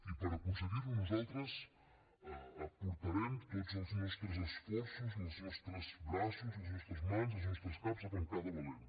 i per aconseguir ho nosaltres aportarem tots els nostres esforços els nostres braços les nostres mans els nostres caps a pencar de valent